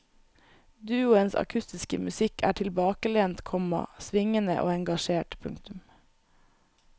Duoens akustiske musikk er tilbakelent, komma svingende og engasjert. punktum